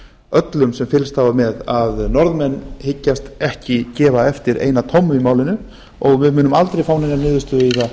öllum sem fylgst hafa með að norðmenn hyggjast ekki gefa eftir eina tommu í málinu og við munum aldrei fá neina niðurstöðu í það